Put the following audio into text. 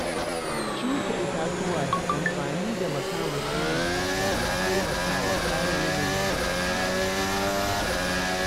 Shuka itatuwa da amfani da makamashi mai tsafta na taimakawa kare yanayi daga dumama.